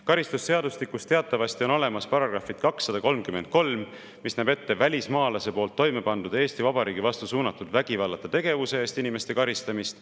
Karistusseadustikus teatavasti on olemas § 233, mis näeb ette välismaalase poolt toime pandud Eesti Vabariigi vastu suunatud vägivallata tegevuse eest inimeste karistamist.